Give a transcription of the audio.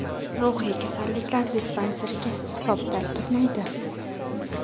Ruhiy kasalliklar dispanseriga hisobda turmaydi.